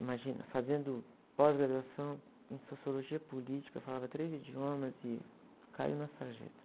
Imagina, fazendo pós-graduação em sociologia política, falava três idiomas e caiu na sarjeta.